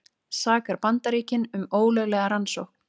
Sakar Bandaríkin um ólöglega rannsókn